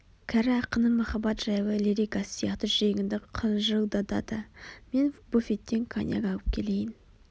кәрі ақынның махаббат жайлы лирикасы сияқты жүрегіңді қыжылдатады мен буфеттен коньяк алып келейін